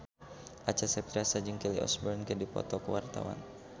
Acha Septriasa jeung Kelly Osbourne keur dipoto ku wartawan